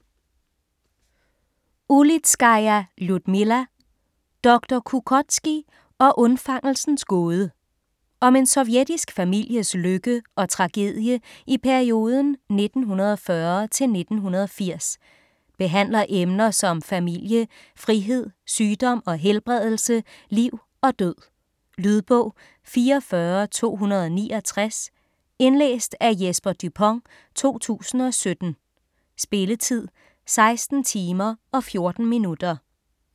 Ulitskaja, Ljudmila: Doktor Kukótskij og undfangelsens gåde Om en sovjetisk families lykke og tragedie i perioden 1940-1980. Behandler emner som familie, frihed, sygdom og helbredelse, liv og død. Lydbog 44269 Indlæst af Jesper Dupont, 2017. Spilletid: 16 timer, 14 minutter.